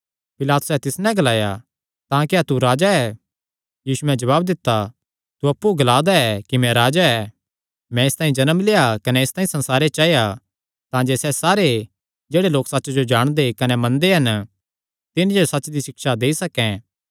पिलातुसैं तिस नैं ग्लाया तां क्या तू राजा ऐ यीशुयैं जवाब दित्ता तू अप्पु ग्ला दा ऐ कि मैं राजा ऐ मैं इसतांई जन्म लेआ कने इसतांई संसारे च आया तांजे सैह़ सारे जेह्ड़े लोक सच्च जो सुणदे कने मनदे हन तिन्हां जो सच्च दी सिक्षा देई सकैं